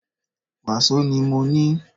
Wàsó ni mọ ní.